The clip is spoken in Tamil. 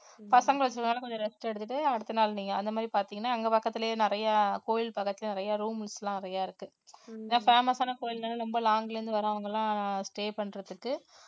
பசங்களுக்கு வேணா கொஞ்சம் rest எடுத்துட்டு அடுத்த நாள் நீங்க அந்த மாதிரி பாத்தீங்கன்னா அங்க பக்கத்துலயே நிறைய கோயில் பக்கத்துல நிறைய rooms எல்லாம் நிறைய இருக்கு ஏன்னா famous ஆன கோயில்னால ரொம்ப long ல இருந்து வர்றவங்கெல்லாம் stay பண்றதுக்கு